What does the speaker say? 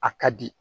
A ka di